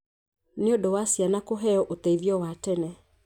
nĩ ũndũ wa ciana kũheo ũteithio wa tene.